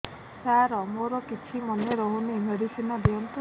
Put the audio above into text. ସାର ମୋର କିଛି ମନେ ରହୁନି ମେଡିସିନ ଦିଅନ୍ତୁ